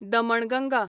Damanganga